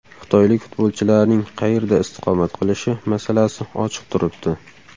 Xitoylik futbolchilarning qayerda istiqomat qilishi masalasi ochiq turibdi.